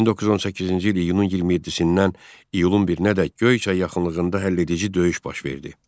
1918-ci il iyunun 27-dən iyulun 1-ədək Göyçay yaxınlığında həlledici döyüş baş verdi.